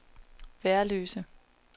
Værløse